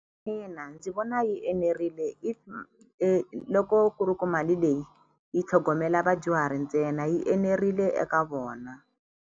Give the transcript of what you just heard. Ina ndzi vona yi enerile if loko ku ri ku mali leyi yi tlhogomela vadyuhari ntsena yi enerile eka vona.